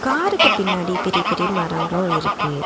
காருக்கு பின்னாடி பெரிய பெரிய மரங்களு இருக்கு.